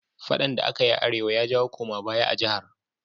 Faɗan da akayi a arewa ya jawo koma baya a jahar?